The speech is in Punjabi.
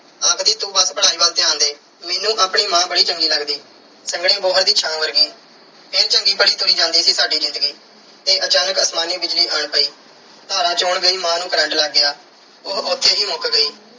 ਆਖਦੀ ਤੂੰ ਆਪਣੀ ਪੜ੍ਹਾਈ ਵੱਲ ਧਿਆਨ ਦੇ। ਮੈਨੂੰ ਆਪਣੀ ਮਾਂ ਬੜੀ ਚੰਗੀ ਲੱਗਦੀ, ਸੰਘਣੀ ਬੋਹੜ ਦੀ ਛਾਂ ਵਰਗੀ। ਇਹ ਚੰਗੀ ਭਲੀ ਤੁਰੀ ਜਾਂਦੀ ਸੀ ਸਾਡੀ ਜ਼ਿੰਦਗੀ ਤੇ ਅਚਾਨਕ ਅਸਮਾਨੀ ਬਿਜਲੀ ਆਣ ਪਈ। ਧਾਰਾਂ ਚੋਣ ਗਈ ਮਾਂ ਨੂੰ ਕਰੰਟ ਲੱਗ ਗਿਆ। ਉਹ ਉੱਥੇ ਹੀ ਮੁੱਕ ਗਈ।